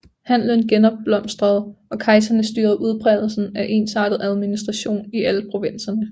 Handelen genopblomstrede og kejserne styrede udbredelsen af en ensartet administration i alle provinserne